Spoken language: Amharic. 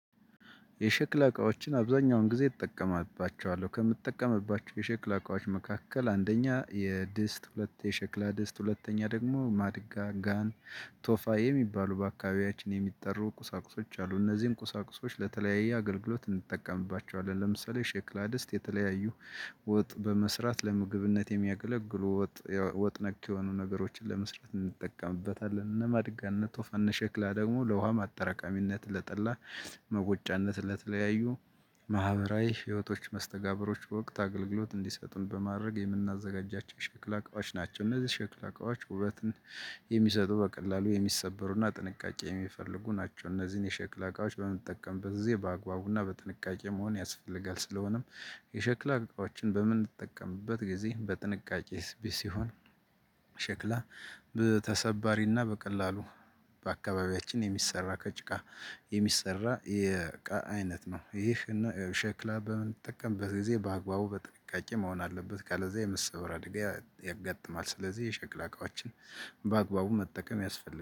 የሸክላ እቃዎችን አብዛኛውን ጊዜ እጠቀምባቸዋለሁ ከምጠቀምባቸው የሸክላ እቃዎች መካከል አንደኛ የድስት ሁለት የሸክላ ድስት ሁለተኛ ደግሞ ማድጋ ጋን ቶፋ የሚባሉ በአካባቢያችን የሚጠሩ ቁሳቁሶች አሉ እነዚህን ቁሳቁሶች ለተለያየ አገልግሎት እንጠቀምባቸዋለን። ለምሳሌ የሸክላ ድስት ወጥ በመስራት ለምግብነት የሚያገለግሉ ወጥ ወጥ ነክ የሆኑ ነገሮችን ለመስራት እንጠቀምበታለን። እነ ማድጋ እነ ሸክላ ደግሞ ለውሃ ማጠራቀሚነት ለጠላ መወጫነት ለተለያዩ ማህበራዊ ህይወቶች መስተጋብሮች ወቅት አገልግሎት እንዲሰጡን በማድረግ የምናዘጋጃቸው ሸክላ አቋዎች ናቸው። እነዚህ ሸክላ እቃዎች ውበትን የሚሰጡ በቀላሉ የሚሰበሩና ጥንቃቄ የሚፈልጉ ናቸው። እነዚህን የሸክላ እቃዎች በምጠቀምበት ጊዜ በአግባቡና በጥንቃቄ መሆን ያስፈልጋል። ስለሆነም የሸክላ እቃዎችን በምንጠቀምበት ጊዜ በጥንቃቄ ሲሆን። ሸክላ በተሰባሪና በቀላሉ በአካባቢያችን የሚሰራ ከጭቃ የሚሰራ የእቃ አይነት ነው። ይህን ሸክላ በምንጠቀምበት ጊዜ በአግባቡ በጥንቃቄ መሆን አለበት ካለዚያ የመሰበር አደጋ ያጋጥማል። ስለዚህ የሸክላ እቃዎችን በአግባቡ መጠቀም ያስፈልጋል